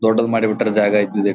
ದೊಡ್ಡದ್ ಮಾಡಿ ಬಿಟ್ಟ್ರು ಜಾಗ ಇದ್ದಿದಿಟ .